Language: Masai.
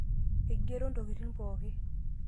eigero intokitin pooki